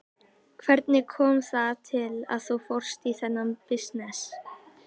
Hvernig kom það til að þú fórst út í þennan bisness?